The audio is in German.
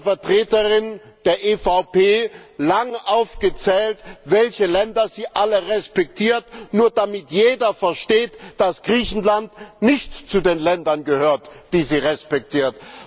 von der Vertreterin der EVP lang aufgezählt, welche Länder sie alle respektiert, nur damit jeder versteht, dass Griechenland nicht zu den Ländern gehört, die sie respektiert?